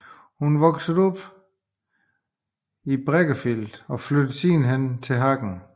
Hun voksede op i Breckerfeld og flyttede siden til Hagen